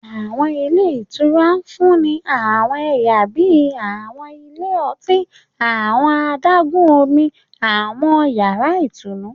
Àwọn ilé ìtura ń fún ni àwọn ẹyà bíi àwọn ilé ọtí, àwọn adágún-Omi, àwọn yàrá ìtùnú